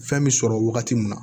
Fɛn bɛ sɔrɔ wagati min na